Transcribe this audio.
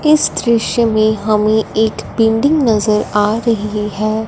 इस दृश्य में हमें एक बिल्डिंग नजर आ रही हैं।